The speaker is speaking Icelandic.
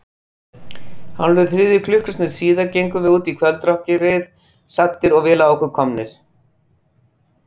Hálfri þriðju klukkustund síðar gengum við út í kvöldrökkrið, saddir og vel á okkur komnir.